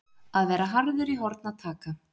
Að vera harður í horn að taka